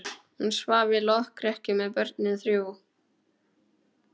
Hún svaf í lokrekkju með börnin þrjú.